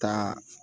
Ka